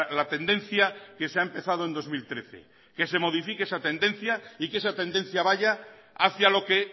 la tendencia que se ha empezado en dos mil trece que se modifique esa tendencia y que esa tendencia vaya hacia lo que